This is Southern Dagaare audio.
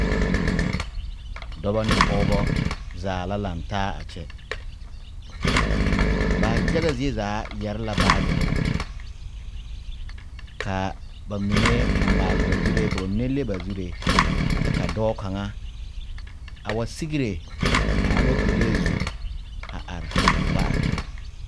Dɔbɔ ne pɔɔbɔ zaa la laŋtaa a kyɛ ba yaga zie zaa yɛre la baagirre kaa ba mine a maale ba zuree ka ba mine leŋ ba zuree kyɛ ka dɔɔ kaŋa a wa sigre a aloopɛlee zu a are ka ba are kɔg.